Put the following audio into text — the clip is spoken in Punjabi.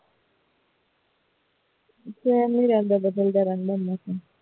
same ਨਹੀਂ ਰਹਿੰਦਾ ਬਦਲਦਾ ਰਹਿੰਦਾ ਹੈ ਮੌਸਮ